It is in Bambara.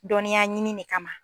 Dɔniya ɲini de kama